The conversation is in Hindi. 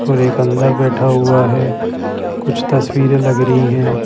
और एक अंदर बैठा हुआ है कुछ तस्वीरें लगरी हैं।